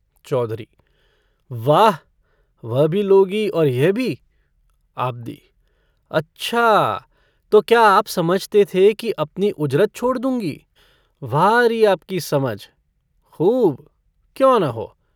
चौधरी - वाह, वह भी लोगी और यह भी? आबदी - अच्छा, तो क्या आप समझते थे कि अपनी उजरत छोड़ दूँगी? वाह री आपकी समझ! खूब! क्यों न हो।